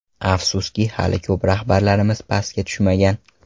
Afsuski hali ko‘p rahbarlarimiz pastga tushmagan.